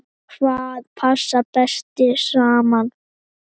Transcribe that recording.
Hvað passar best saman?